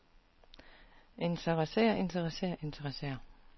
interesserer interesserer interesserer